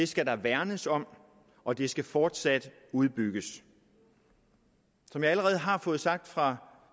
skal der værnes om og det skal fortsat udbygges som jeg allerede har fået sagt fra